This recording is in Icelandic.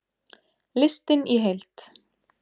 Listinn í heild